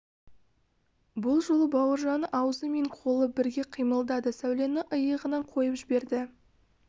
бұл жолы бауыржанның аузы мен қолы бірге қимылдады сәулені иығынан қойып жіберді